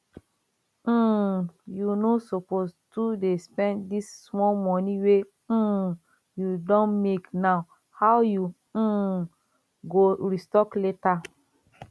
um you no suppose to dey spend dis small money wey um you don make now how you um go restock later